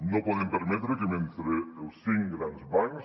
no podem permetre que mentre els cinc grans bancs